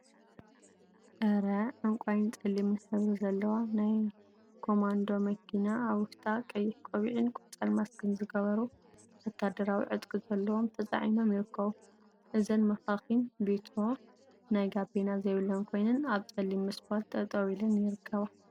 2. አረ! ዕንቋይን ፀሊምን ሕብሪ ዘለዋ ናይ ኮማንዶ መኪና አብ ውሽጣ ቀይሕ ቆቢዕን ቆፃል ማስክን ዝገበሩ ወታደራዊ ዕጥቂ ዘለዎም ተፃዒኖም ይርከቡ፡፡ እዘን መካኪን ቢትሮ ናይ ጋቤና ዘይብለን ኮይነን አብ ፀሊም ስፓልት ጠጠወ ኢለን ይርከባ፡፡